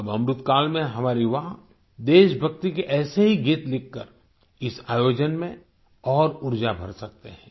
अब अमृतकाल में हमारे युवा देशभक्ति के ऐसे ही गीत लिखकर इस आयोजन में और ऊर्जा भर सकते हैं